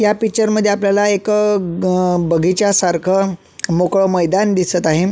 या पिक्चर मध्ये आपल्याला एक बगीचा सारख मोकळ मैदान दिसत आहे.